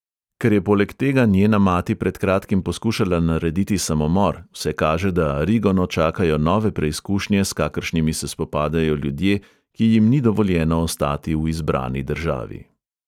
Ker je poleg tega njena mati pred kratkim poskušala narediti samomor, vse kaže, da arigono čakajo nove preskušnje, s kakršnimi se spopadajo ljudje, ki jim ni dovoljeno ostati v izbrani državi.